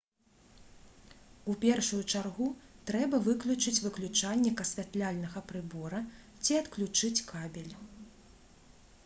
у першую чаргу трэба выключыць выключальнік асвятляльнага прыбора ці адключыць кабель